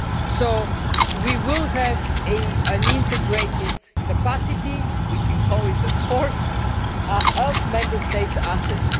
So we will have an integrated capacity, we can call it a force, of Member States' assets.